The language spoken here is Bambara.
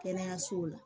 Kɛnɛyasow la